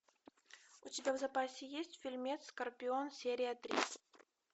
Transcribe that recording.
у тебя в запасе есть фильмец скорпион серия три